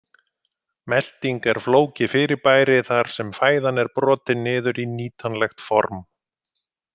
Melting er flókið fyrirbæri þar sem fæðan er brotin niður í nýtanlegt form.